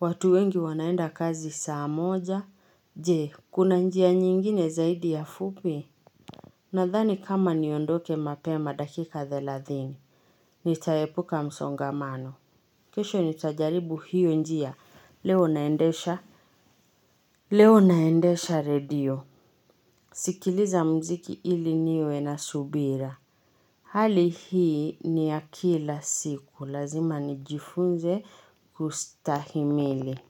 Watu wengi wanaenda kazi saa moja. Je, kuna njia nyingine zaidi ya fupi? Nadhani kama niondoke mapema dakika thelathini. Nitaepuka msongamano, kesho nitajaribu hiyo njia. Leo naendesha. Leo naendesha redio. Sikiliza mziki ili niwe nasubira hali hii ni ya kila siku lazima nijifunze kustahimili.